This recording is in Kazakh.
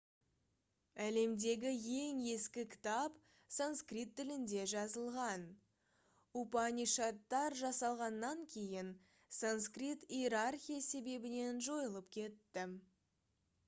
әлемдегі ең ескі кітап санскрит тілінде жазылған упанишадтар жасалғаннан кейін санскрит иерархия себебінен жойылып кетті